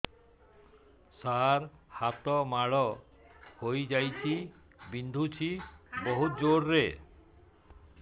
ସାର ହାତ ମାଡ଼ ହେଇଯାଇଛି ବିନ୍ଧୁଛି ବହୁତ ଜୋରରେ